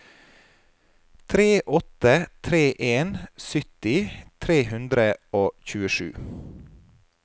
tre åtte tre en sytti tre hundre og tjuesju